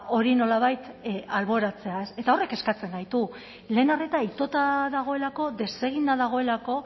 hori nolabait alboratzea eta horrek kezkatzen gaitu lehen arreta itota dagoelako deseginda dagoelako